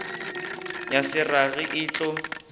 ya se rage e tlo